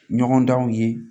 Ɲɔgɔndanw ye